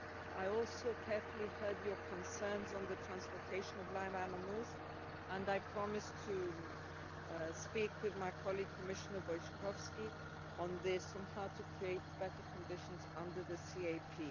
I also carefully listened to your concerns on the transportation of live animals, and I promise to speak with my colleague, Commissioner Wojciechowski, on this on how to create better conditions under the CAP.